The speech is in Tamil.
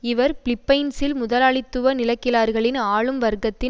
இவர் பிலிப்பைன்ஸில் முதலாளித்துவ நிலக்கிழார்களின் ஆளும் வர்க்கத்தின்